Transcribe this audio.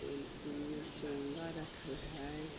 इ एने चोंगा रखल हेय।